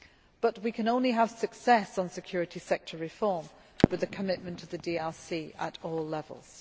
But we can only have success on security sector reform with the commitment of the DRC at all levels.